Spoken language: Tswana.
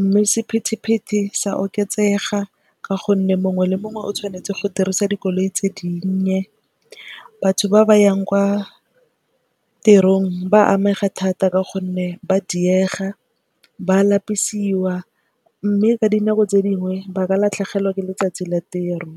Mme sepithipithi sa oketsega ka gonne mongwe le mongwe o tshwanetse go dirisa dikoloi tse dinnye. Batho ba ba yang kwa tirong ba amega thata ka gonne ba diega ba lapisiwa mme ka dinako tse dingwe ba ka latlhegelwa ke letsatsi la tiro.